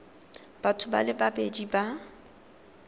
batho ba le babedi ba